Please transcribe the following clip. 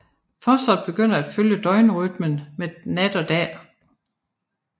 Fosteret begynder at følge døgnrytmen med nat og dag